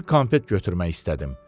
Bir konfet götürmək istədim.